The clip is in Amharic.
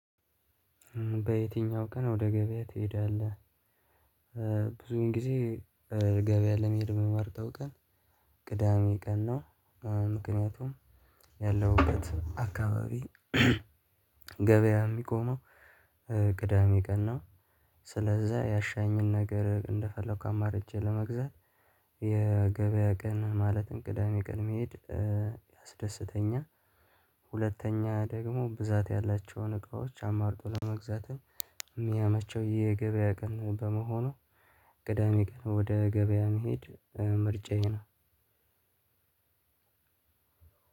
በየትኛው? ቀን ወደ ገቢያ ትሄዳለህ ብዙን ጊዜ ገበያ ለመሄድ የምመርጠው ቀን ቅዳሜ ቀን ነው። ምክንያቱም ያለውበት አካባቢ ገቢያ የሚቆመው ቅዳሜ ቀን ነው። ስለዛ ያሻኝን ነገር እንደፈለኩ አማርጨ ለመግዛት የገቢያ ቀን ማለትም ቅዳሜ ቀን መሄድ ያስደስተኛል። ሁለተኛ ደግሞ ብዛት ያላቸውን እቃዎች አማርጦ ለመግዛት የሚያመቸው የገበያ ቀን በመሆኑ ቅዳሜ ቀን ወደ ገቢያ መሄድ ምርጫዬ ነው።